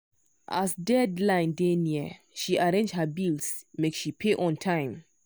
as deadline dey near she arrange her bills make she pay on time.